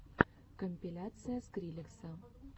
компиляция скриллекса